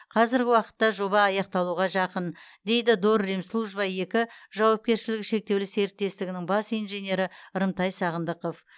қазіргі уақытта жоба аяқталуға жақын дейді дорремслужба екі жауапкершілігі шектеулі серіктестігінің бас инженері рымтай сағындықов